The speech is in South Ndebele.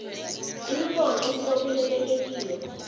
imibono esibopheleleke kiyo